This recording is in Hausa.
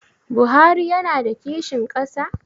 Buhari yana da kishin ƙasa?